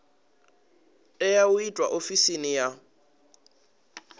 tea u itwa ofisini ya